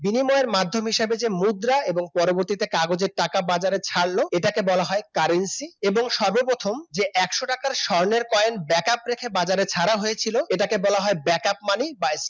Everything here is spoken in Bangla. বিনিময়ের মাধ্যম হিসেবে যে মুদ্রা এবং পরবর্তীতে কাগজের টাকা বাজারে যে টাকা-পয়সা ছাড়লো এটাকে বলা হয় Currency এবং সর্বপ্রথম যে একশো টাকার স্বর্ণের কয়েন backup রেখে বাজারে ছাড়া হয়েছিল এটাকে বলা হয় backup money বা